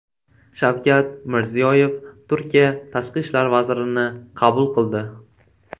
Shavkat Mirziyoyev Turkiya tashqi ishlar vazirini qabul qildi .